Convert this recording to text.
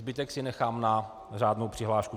Zbytek si nechám na řádnou přihlášku.